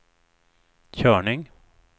körning